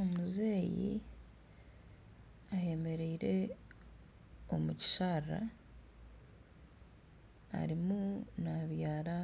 Omuzeeyi ayemereire omu kisharaara arimu nabyara